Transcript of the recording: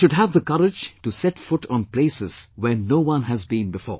They should have the courage to set foot on places where no one has been before